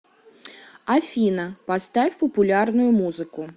афина поставь популярную музыку